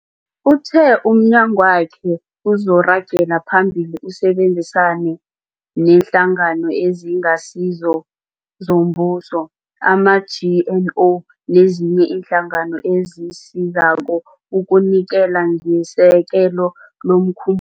Uthe umnyagwakhe uzoragela phambili usebenzisane neeNhlangano eziNgasizo zoMbuso, ama-NGO, nezinye iinhlangano ezisizako ukunikela ngesekelo lomkhum